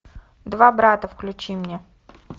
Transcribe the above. два брата включи мне